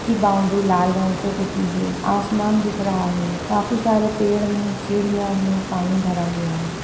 की बाउंड्री लाल रंग से पुती है आसमान दिख रहा है काफी सारे पेड़ है चिड़िया है पानी भरा हुआ है।